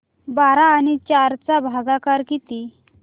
बारा आणि चार चा भागाकर किती